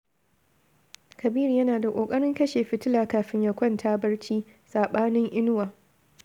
Kabiru yana da ƙoƙarin kashe fitila kafin ya kwanta barci, saɓanin Inuwa